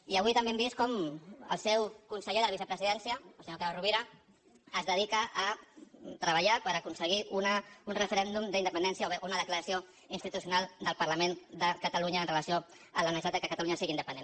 i avui també hem vist com el seu conseller de la vicepresidència el senyor carod rovira es dedica a treballar per aconseguir un referèndum d’independència o bé una declaració institucional del parlament de catalunya amb relació a la necessitat que catalunya sigui independent